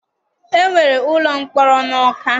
E nwere ụlọ mkpọrọ n'Ọka.